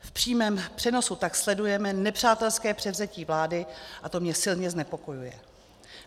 V přímém přenosu tak sledujeme nepřátelské převzetí vlády a to mě silně znepokojuje.